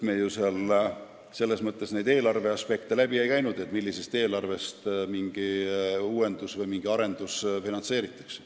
Me komisjonis eelarve aspekte läbi ei arutanud, näiteks millisest eelarvest mingi uuendus või mingi arendus finantseeritakse.